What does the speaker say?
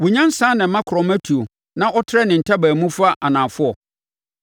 “Wo nyansa na ɛma akorɔma tuo na ɔtrɛ ne ntaban mu fa anafoɔ?